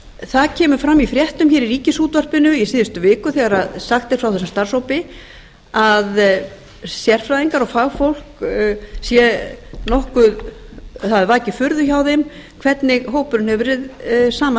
það kemur fram í fréttum í ríkisútvarpinu í síðustu viku þegar sagt er frá þessum starfshópi að það hafi vakið furðu hjá sérfræðingum og fagfólki hvernig hópurinn hefur verið saman